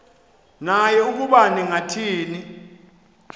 naye ukuba ningathini